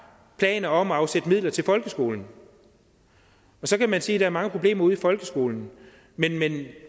planer om at afsætte midler til folkeskolen så kan man sige er mange problemer ude i folkeskolen men